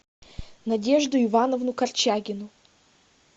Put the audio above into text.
надежду ивановну корчагину